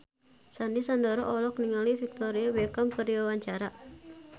Sandy Sandoro olohok ningali Victoria Beckham keur diwawancara